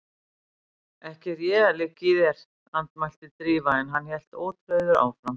Ekki er ég að liggja í þér- andmælti Drífa en hann hélt ótrauður áfram